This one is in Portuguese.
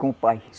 Com o pai.